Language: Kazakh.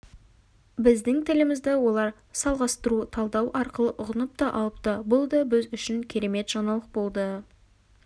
біздің тілімізді олар салғастыру талдау арқылы ұғынып та алыпты бұл да біз үшін керемет жаңалық болды